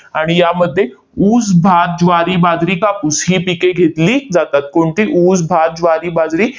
आणि यामध्ये ऊस, भात, ज्वारी, बाजरी, कापूस ही पिके घेतली जातात. कोणती? ऊस, भात, ज्वारी, बाजरी,